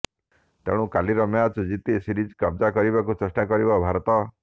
ତେଣୁ କାଲିର ମ୍ୟାଚ୍ ଜିତି ସିରିଜ କବ୍ଜା କରିବାକୁ ଚେଷ୍ଟା କରିବ ଭାରତ